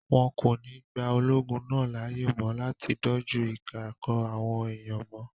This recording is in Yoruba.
Wọn kò ní gba ológun náà láàyè mọ́ láti dojú ìjà kọ àwọn èèyàn mọ́